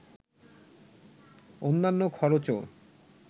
অন্যান্য খরচও